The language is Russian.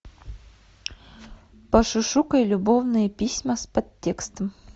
пошушукай любовные письма с подтекстом